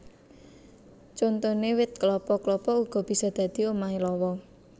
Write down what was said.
Contoné wit klapa klapa uga bisa dadi omahé lawa